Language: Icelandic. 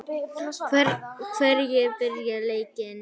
Hverjir byrja leikinn?